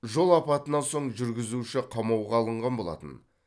жол апатынан соң жүргізуші қамауға алынған болатын